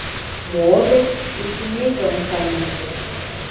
mhobe usinika umfaniso